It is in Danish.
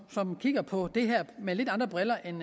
kigger på det her med lidt andre briller end